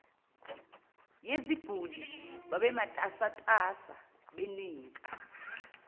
yeziguli babematasatasa benika